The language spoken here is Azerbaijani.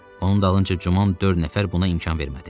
Onun dalınca cümun dörd nəfər buna imkan vermədi.